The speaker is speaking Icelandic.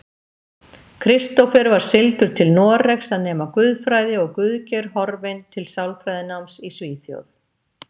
Kristófer var sigldur til Noregs að nema guðfræði og Guðgeir horfinn til sálfræðináms í Svíþjóð.